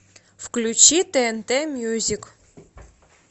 включи тнт мюзик